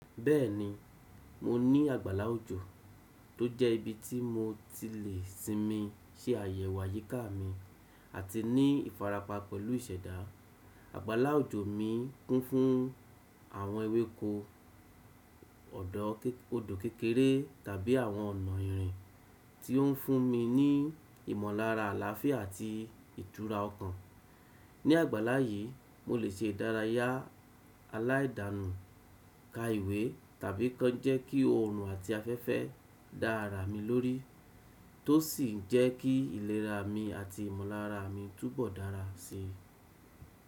Bẹ́ẹ̀ni, mo ní àgbàlá òjò tó jẹ́ ibi tí mo ti lè sinmi, se àyẹ̀wò àyíká mi, àti ní ìfarapa pẹ̀lú ìṣẹ̀dá. Àgbàlá òjò mi kún fún àwọn ewéko, ọdọ ke, odò kékeré tàbí àwọn ọ̀nà ìrìn tí ó ń fún mi ní ìmọ̀lára àlàáfíà àti ìtura ọkàn. Ni àgbàlá yìí, mo lè ṣe ìdárayá aláìdanù, ka ìwé, tàbí kàn jẹ́ kí oòrùn àti afẹ́fẹ́ dára mi lórí, tó sì ń jẹ́ kí ìlera mi àti ìmọ̀lára mi túbọ̀ dára si.